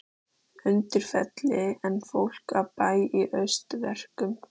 Undirfelli en fólk af bæ í haustverkum.